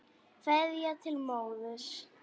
Kveðja til móður.